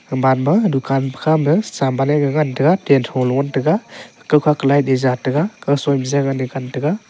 eman ma dukan khama saman e gaga ngan taiga tan tho lo ngan taiga ku kaw ku light e ja taiga .